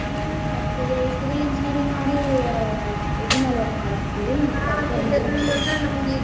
ನೀವು software Civil Engineering ಮಾಡಿ ಇದರ್ಮೇಲ್ work ಮಾಡತೀರಿ?